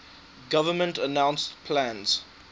government announced plans